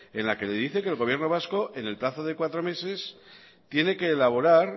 en la que le dice que el gobierno vasco en el plazo de cuatro meses tiene que elaborar